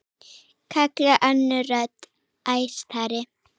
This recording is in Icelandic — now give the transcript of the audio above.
kallaði önnur rödd, æstari.